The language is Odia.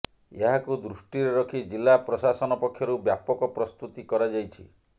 ଏହାକୁ ଦୃଷ୍ଟିରେ ରଖି ଜିଲ୍ଲା ପ୍ରଶାସନ ପକ୍ଷରୁ ବ୍ୟାପକ ପ୍ରସ୍ତୁତି କରାଯାଇଛି